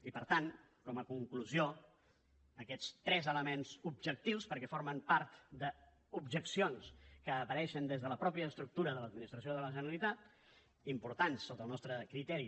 i per tant com a conclusió aquests tres elements objectius perquè formen part d’objeccions que apareixen des de la mateixa estructura de l’administració de la generalitat importants sota el nostre criteri